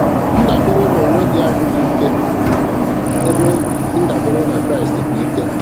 Ndabere n'onwe gị bụ adịghị ike ebe ndabere na Kraịst bụ ike.